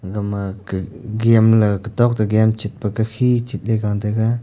aga ma ga game la tetok tegame chet pa tagi chetpa te phi chetla ga taga.